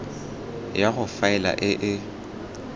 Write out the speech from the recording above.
ya go faela e e